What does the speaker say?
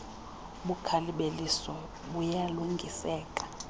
ubukhali beliso buyalungiseka